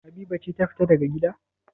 Habiba ce ta fita daga gida?